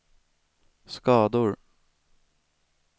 skador